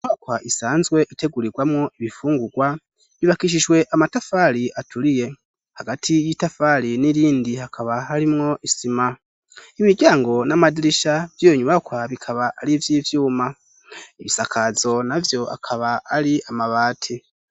Inyubakwa isanzwe itegurirwamwo ibifungurwa yubakishijwe amatafari aturiye. Hagati y'itafari n'irindi hakaba harimwo isima. Imiryango n'amadirisha vy'iyo nyubakwa bikaba ari ivy'ivyuma. Ibisakazo na vyo akaba ari amabati.